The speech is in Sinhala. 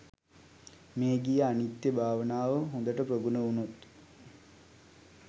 මේඝිය අනිත්‍ය භාවනාව හොඳට ප්‍රගුණ වුණොත්